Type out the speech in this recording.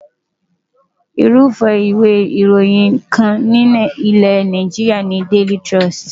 Irúfẹ́ ìwé ìròyìn kan ní ilẹ̀ Nàìjíríà ni Daily Trust.